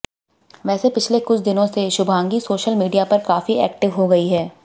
वैसे पिछले कुछ दिनों से शुभांगी सोशल मीडिया पर काफी एक्टिव हो गई हैं